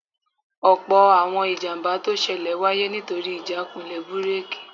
Ọ̀pọ̀ àwọn ìjàmbá tó ṣẹlẹ̀ wáyé nítorí ìjákulẹ̀ búrèkì